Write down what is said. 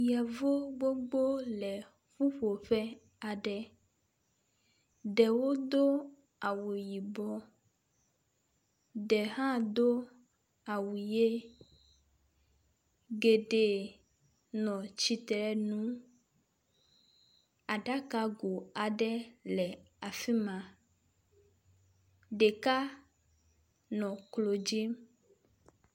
Yevu gbogbo le ƒuƒoƒe aɖe. Ɖewo do awu yibɔ. Ɖe hã do awu ʋi. geɖe nɔ tsitre nu. aɖakago aɖe le afi ma. Ɖeka nɔ klo dzi.